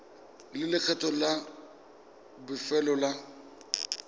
le lekgetho la bofelo la